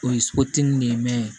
O ye de ye